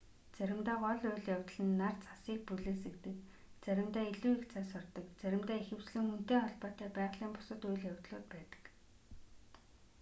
заримдаа гол үйл явдал нь нар цасыг бүлээсгэдэг заримдаа илүү их цас ордог заримдаа ихэвчлэн хүнтэй холбоотой байгалийн бусад үйл явдлууд байдаг